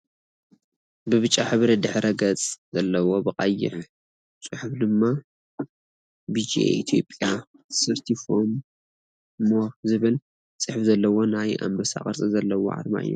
ብብጫ ሕብሪ ድሕረ-ገፅ ዘለዎ ብቀይሕ ፅሑፍ ድማ ቢጂኣይ ኢትዮጰያ ሰርቲ ፎር ሞር ዝብል ፅሕፍ ዘለዎ ናይ ኣንበሳ ቅርፂ ዘርኢ ኣርማ እዩ።